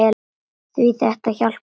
Því þetta hjálpar okkur.